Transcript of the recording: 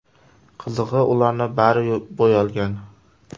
Qizig‘i, ularning bari bo‘yalgan.